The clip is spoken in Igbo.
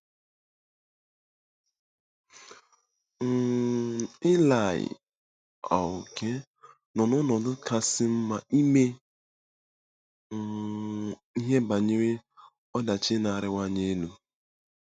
um Ilaị um nọ n'ọnọdụ kasị mma ime um ihe banyere ọdachi na-arịwanye elu.